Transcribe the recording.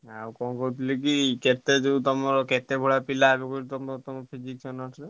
ଆଉ କଣ କହୁଥିଲି କି କେତେ ଯୋଉ ତମର କେତେ ?